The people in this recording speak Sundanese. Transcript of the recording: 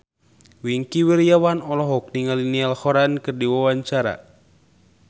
Wingky Wiryawan olohok ningali Niall Horran keur diwawancara